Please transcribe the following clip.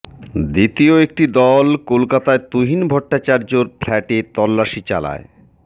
দ্বিতীয় একটি দল কলকাতায় তুহিন ভট্টাচার্য্যর ফ্ল্যাটে তল্লাশি চালায়